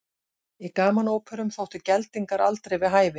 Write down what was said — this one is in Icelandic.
Í gamanóperum þóttu geldingar aldrei við hæfi.